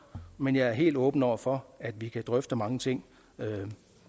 men jeg er helt åben over for at vi kan drøfte mange ting